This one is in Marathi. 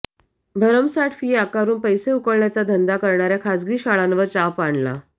भरमसाट फी आकारून पैसे उकळण्याचा धंदा करणाऱया खाजगी शाळांवर चाप आणला